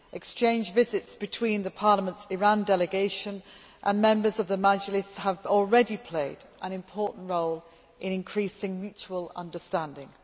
Exchange visits between Parliament's Iran delegation and members of the Majlis have already played an important role in increasing mutual understanding.